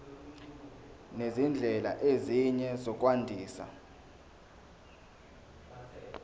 nezindlela ezinye zokwandisa